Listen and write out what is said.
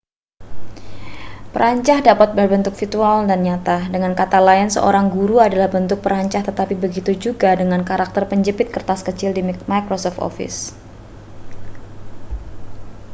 perancah dapat berbentuk virtual dan nyata dengan kata lain seorang guru adalah bentuk perancah tetapi begitu juga dengan karakter penjepit kertas kecil di microsoft office